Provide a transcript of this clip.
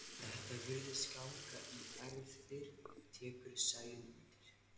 Þetta virðist ganga í erfðir, tekur Sæunn undir.